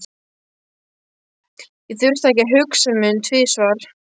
Ég þurfti ekki að hugsa mig um tvisvar.